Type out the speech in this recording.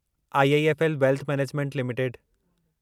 IIFL wealth management limited